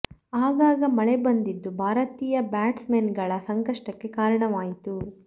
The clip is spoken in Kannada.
ಆಗಾಗ ಮಳೆ ಬಂದಿದ್ದೂ ಭಾರತೀಯ ಬ್ಯಾಟ್ಸ್ ಮನ್ ಗಳ ಸಂಷಕ್ಟಕ್ಕೆ ಕಾರಣವಾಯಿತು